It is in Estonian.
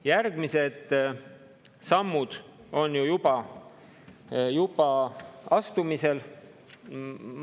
Järgmised sammud on ju juba astumisel.